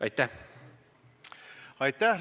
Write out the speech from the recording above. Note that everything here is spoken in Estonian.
Aitäh!